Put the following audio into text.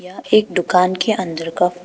यह एक दुकान के अंदर का--